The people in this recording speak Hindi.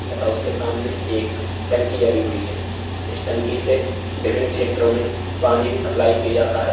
तथा उसके सामने एक टंकी लगी हुई है। इस टंकी से विभिन्न क्षेत्रों में पानी भी सप्लाई किया जाता है।